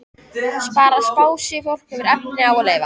Bara spássíufólk hefur efni á að lifa.